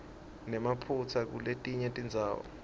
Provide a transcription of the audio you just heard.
nemaphutsa kuletinye tindzawo